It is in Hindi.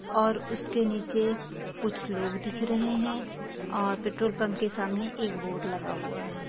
और उसके नीचे कुछ लोग दिख रहे हैं और पेट्रोल पम्प के सामने एक बोर्ड लगा हुआ है।